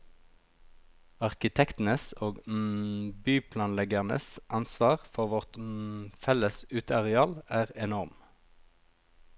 Arkitektenes og byplanleggernes ansvar for vårt felles uteareal er enorm.